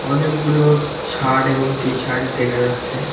অনেকগুলো শাড এবং টি শাড দেখা যাচ্ছে।